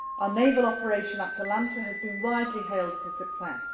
doing. Our naval operation Atalanta has been widely hailed as a success.